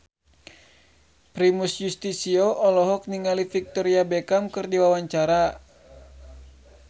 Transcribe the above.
Primus Yustisio olohok ningali Victoria Beckham keur diwawancara